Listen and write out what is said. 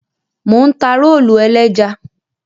Mò ń ta rólù ẹlẹ́ja.